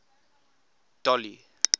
dolly